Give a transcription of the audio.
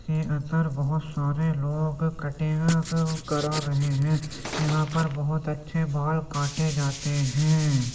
अंदर बहुत सारे लोग कटिंग करा रहे हैं। यहां पर बोहत अच्छे बाल काटे जाते हैं।